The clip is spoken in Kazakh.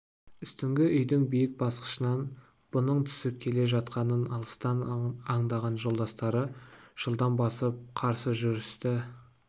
үстіңгі үйдің биік басқышынан бұның түсіп келе жатқанын алыстан аңдаған жолдастары жылдам басып қарсы жүрісті